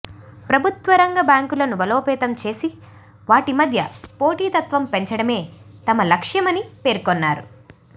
ప్రభుత్వ రంగ బ్యాంకులను బలోపేతం చేసి వాటి మధ్య పోటీతత్వం పెంచడమే తమ లక్ష్యమని పేర్కొన్నారు